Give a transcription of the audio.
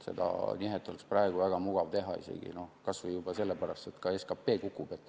Seda nihet oleks praegu väga mugav teha, kas või juba sellepärast, et ka SKP kukub.